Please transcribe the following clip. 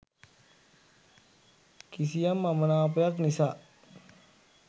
කිසියම් අමනාපයක් නිසා